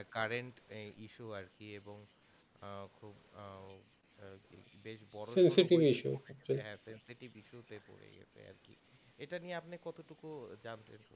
current এই issue আর কি এবং